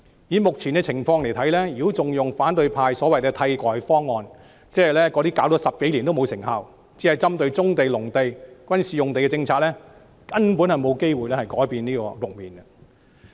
以目前的情況來看，如果還採用反對派所謂的替代方案，即那些推行了10多年、針對棕地、農地和軍事用地的無甚效用政策，根本不能改變這個局面。